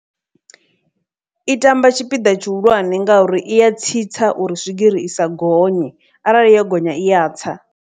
I tamba tshipiḓa tshihulwane ngauri i ya tsitsa uri swigiri i sa gonye arali yo gonya iya tsa.